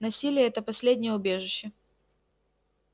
насилие это последнее убежище